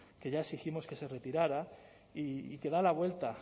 que ya exigimos que se retirara y que da la vuelta